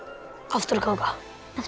afturganga